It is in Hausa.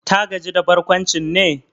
Ta gaji da barkwancin ne?